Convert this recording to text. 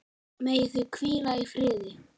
Megi þau hvíla í friði.